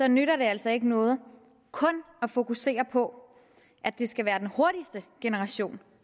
nytter det altså ikke noget kun at fokusere på at det skal være den hurtigste generation